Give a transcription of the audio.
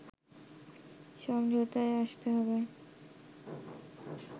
সমঝোতায় আসতে হবে